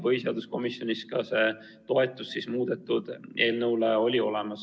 Põhiseaduskomisjonis on toetus ka sellele muudetud eelnõule olemas.